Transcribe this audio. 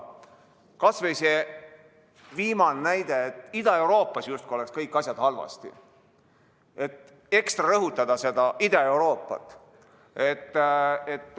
Kas või see viimane näide, et Ida-Euroopas justkui oleksid kõik asjad halvasti – ekstra rõhutada seda Ida-Euroopat.